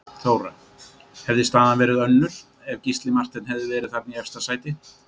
Þóra: Hefði staðan verið önnur ef Gísli Marteinn hefði verið þarna í efsta sæti?